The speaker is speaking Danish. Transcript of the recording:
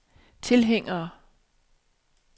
tilhængere